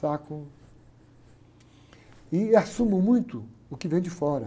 Saco... E assumo muito o que vem de fora.